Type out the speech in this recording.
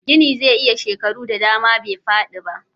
Gini zai iya shekaru da dama bai fadi ba